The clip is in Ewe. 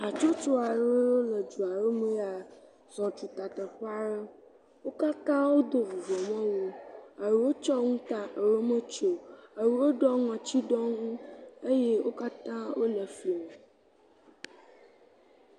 Hatsotso aɖewo yiwo le dua ɖewo me zɔ tuta teƒe aɖe. Wo katã wodo vuvɔmewu. Eɖewo tsɔ nu ta eɖewo metsɔe o. Eɖewo ɖɔ ŋɔtsiɖonu eye wo katã wo le efli me.